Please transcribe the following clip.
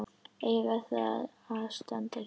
eiga þar að standa hjá.